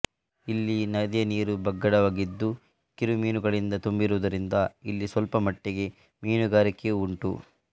ಇಲ್ಲಿ ನದಿಯ ನೀರು ಬಗ್ಗಡವಾಗಿದ್ದು ಕಿರುಮೀನುಗಳಿಂದ ತುಂಬಿರುವುದರಿಂದ ಇಲ್ಲಿ ಸ್ವಲ್ಪಮಟ್ಟಿಗೆ ಮೀನುಗಾರಿಕೆಯೂ ಉಂಟು